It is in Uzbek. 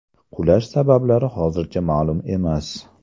Qulash sabablari hozircha ma’lum emas.